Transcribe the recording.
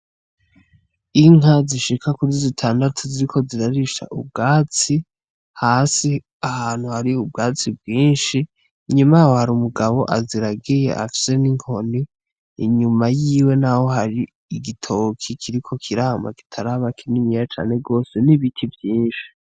Inka zishika kuri zitandatu ziriko zirarisha ubwatsi, hasi ahantu hari ubwatsi bwinshi, inyuma yaho hari umugabo aziragiye afise n'inkoni, inyuma yiwe naho hari igitoki kiriko kirama kitaraba kininiya cane gose, n'ibiti vyinshi.